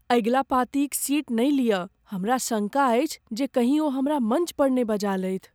अगिला पाँती क सीट नहि लियऽ। हमरा शङ्का अछि जे कहीं ओ हमरा मञ्च पर ने बजा लेथि ।